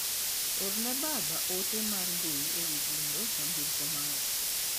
Orne baba ote mar mbui ewi gundho nyamburko mara.